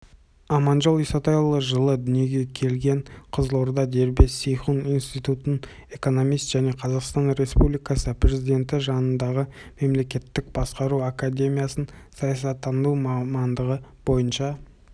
аманжол исатайұлы жылы дүниеге келген қызылорда дербес сейхун институтын экономист және қазақстан республикасы президенті жанындағы мемлекеттік басқару академиясын саясаттану мамандығы бойынша